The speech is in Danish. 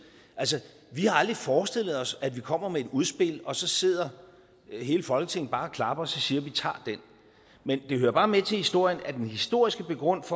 altså vi har aldrig forestillet os at vi kommer med et udspil og så sidder hele folketinget bare og klapper og siger vi tager det men det hører bare med til historien at den historiske begrundelse